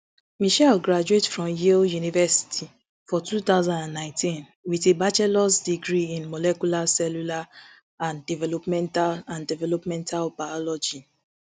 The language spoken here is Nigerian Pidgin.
michelle graduate from yale university for two thousand and nineteen wit a bachelors degree in molecular cellular and developmental and developmental biology